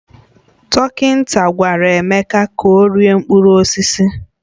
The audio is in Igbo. Dọkịta gwara Emeka ka ọ rie mkpụrụ osisi